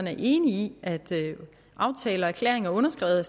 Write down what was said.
er enig i at aftaler og erklæringer underskrevet